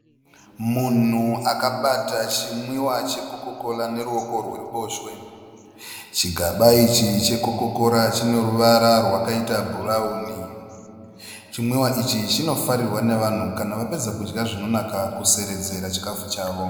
Munhu akabata chimwiwa cheCoca Cola neruoko rworuboshwe. Chigaba ichi cheCoca Cola chine ruvara rwakaita bhurawuni. Chimwiwa ichi chinofarirwa navanhu kana vapedza kudya zvinonaka kuseredzera chikafu chavo.